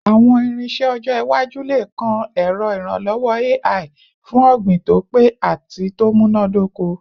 Awọn irinṣẹ ọjọ iwaju le kan ẹrọ iranlọwọ AI fun ogbin to pe ati to munadoko